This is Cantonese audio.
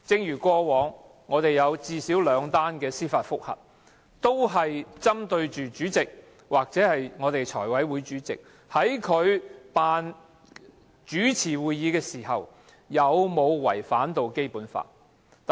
以往最少有兩宗司法覆核，均針對主席或財務委員會主席在主持會議時有否違反《基本法》。